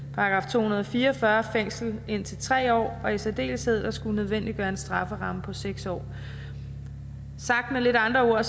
to hundrede og fire og fyrre fængsel indtil tre år og i særdeleshed at skulle nødvendiggøre en strafferamme på seks år sagt med lidt andre ord